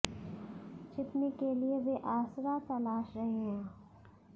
छिपने के लिए वे आसरा तलाश रहे हैं